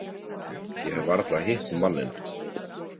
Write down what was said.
Ég hef varla hitt manninn.